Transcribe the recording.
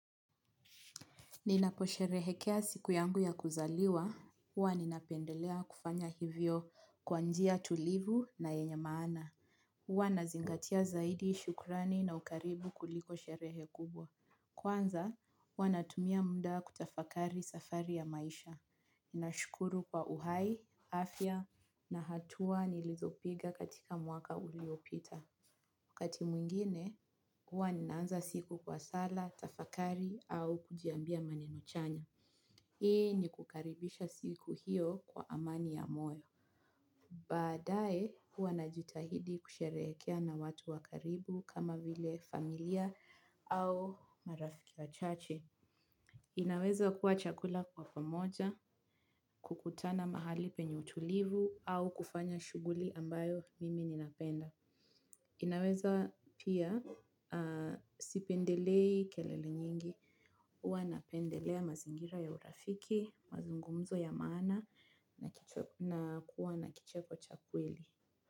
Ninaposherehekea siku yangu ya kuzaliwa, uwa ninapendelea kufanya hivyo kwa njia tulivu na yenye maana. Huwa nazingatia zaidi shukrani na ukaribu kuliko sherehe kubwa. Kwanza, huwa natumia mda kutafakari safari ya maisha. Ninashukuru kwa uhai, afya na hatua nilizopiga katika mwaka uliopita. Kati mwingine, huwa ninaanza siku kwa sala, tafakari, au kujiambia maneno chanya. Hii ni kukaribisha siku hiyo kwa amani ya moyo. Badae, huwa najitahidi kusherekea na watu wa karibu kama vile familia au marafiki wa chache. Inaweza kuwa chakula kwa pamoja, kukutana mahali penye tulivu, au kufanya shuguli ambayo mimi ninapenda. Inaweza pia sipendelei kelele nyingi, uwa na pendelea mazingira ya urafiki, mazungumzo ya maana na kuwa na kicheko cha kweli.